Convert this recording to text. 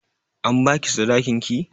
An ba ki sadakin ki?